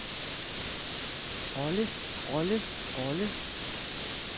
rolle rolle rolle